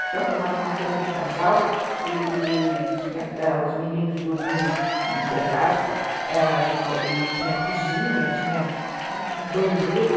Então, formava uma cama de casal, e e os meninos dormiam no terraço, e tinha, ãh cozinha, tinha banheiro.